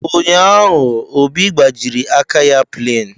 Ụnyaahụ, Obi gbajiri aka ya plain.